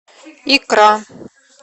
икра